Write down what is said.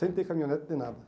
Sem ter caminhonete, nem nada.